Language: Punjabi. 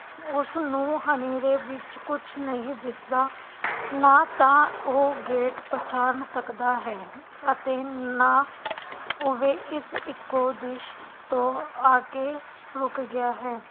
ਉਸਨੂੰ ਹਨੇਰੇ ਵਿਚ ਕੁਝ ਨਹੀਂ ਦਿਸਦਾ ਨਾ ਤਾ ਉਹ ਗੇਟ ਪਛਾਣ ਸਕਦਾ ਹੈ ਅਤੇ ਨਾ ਓਹਦੇ ਇਕ ਏਕੋ ਦੀ ਤੋਂ ਆਕੇ ਰੁਕ ਗਿਆ ਹੈ